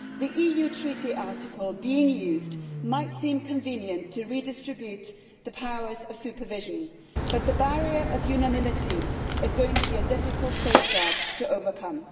The EU Treaty article being used might seem convenient to redistribute the powers of supervision, but the barrier of unanimity is going to be a difficult safeguard to overcome.